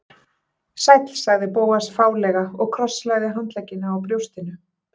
Sæll sagði Bóas fálega og krosslagði handleggina á brjóstinu.